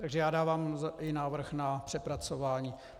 Takže já dávám i návrh na přepracování.